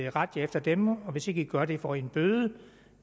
at rette jer efter dem og hvis ikke i gør det får i en bøde